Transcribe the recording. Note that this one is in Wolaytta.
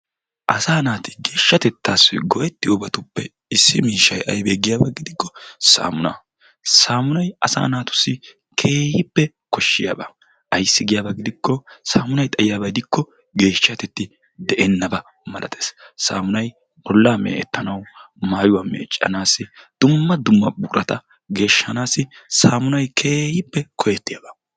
Asaa naati geeshshatettaassi go"ettiyobatuppe issi miishshayi aybee giyaba gidikko saammunaa. Saammunayi asaa naatussi keehippe koshshiyaba ayssi giyaba gidikkoo saammunayi xayiyaba gidikko geeshshatetti de"ennaba malates. Saammunayi bollaa meecettanawu maayuwa meeccanaassi dumma dumma buqurata geeshshanaassi saammunayi keehippe koyettiyaaba.